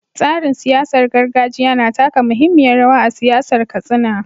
Tsarin siyasar gargajiya na taka muhimmiyar rawa a siyasar Katsina.